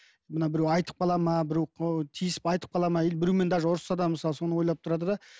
мына біреу айтып қалады ма біреу тиісіп айтып қалады ма или біреумен даже ұрсысса да мысалы соны ойлап тұрады да